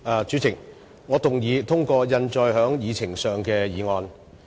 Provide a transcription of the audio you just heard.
主席，我動議通過印載於議程內的議案。